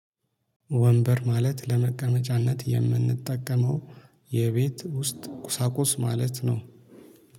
ወንበር ማለት ለመቀመጫነት የምንጠቀመው የቤት ውስጥ ቁሳቁስ ማለት ነው።